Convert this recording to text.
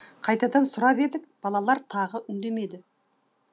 қайтадан сұрап едік балалар тағы үндемеді